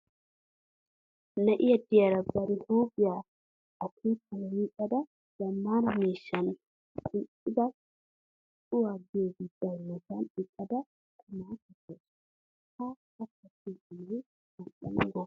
Na"i diyara bari huuphiya akeekan yiicada zammaana miishshan kumida cuwa giyoobi baynnasan eqqada qumaa kattawusu. Ha A kattiyo qumay mal"ana gooppa!